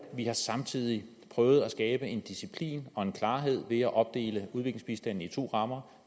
vi har samtidig prøvet at skabe en disciplin og en klarhed ved at opdele udviklingsbistanden i to rammer